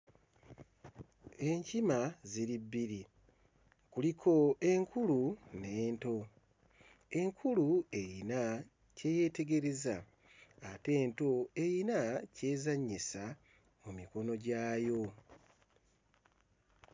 Enkima ziri bbiri, kuliko enkulu n'ento. Enkulu eyina kye yeetegereza ate ento eyina kyezannyisa mu mikono gyayo.